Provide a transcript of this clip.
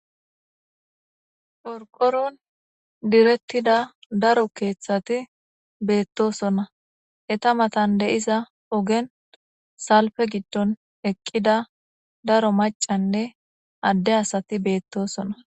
porqoron direttida daro keeththati beettosona eta matan deiza ogen salfe giddon eqqida daro macanne adde asati beettosona